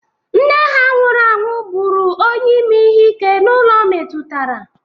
Nne ha nwụrụ anwụ bụrụ onye ime ihe ike n'ụlọ metụtara.